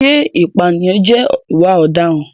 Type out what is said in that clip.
Ṣé ìpànìyàn jẹ́ ìwà ọ̀daràn?